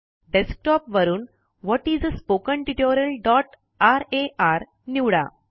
desktop वरून what is a spoken tutorialरार निवडा